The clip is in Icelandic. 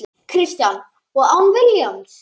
Kristján: Og án Vilhjálms?